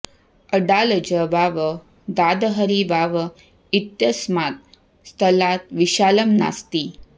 अडालज वाव दादहरी वाव इत्यस्मात् स्थलात् विशालं नास्ति